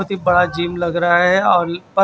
ती बड़ा जिम लग रहा हैऔर प--